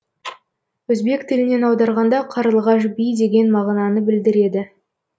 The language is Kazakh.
өзбек тілінен аударғанда қарлығаш би деген мағынаны білдіреді